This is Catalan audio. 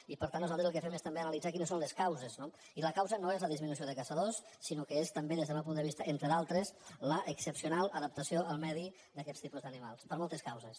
i per tant nosaltres el que fem és també analitzar quines són les causes no i la causa no és la disminució de caçadors sinó que és també des del meu punt de vista entre altres l’excepcional adaptació al medi d’aquests tipus d’animals per moltes causes